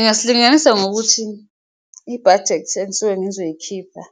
Ngasilinganisa ngokuthi ibhajethi engisuke ngizoyikhipha